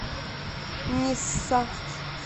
нисса